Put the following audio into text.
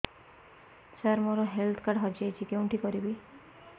ସାର ମୋର health card ହଜି ଯାଇଛି କେଉଁଠି କରିବି